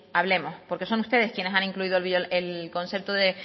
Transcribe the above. hablemos porque son ustedes quienes han incluido el concepto de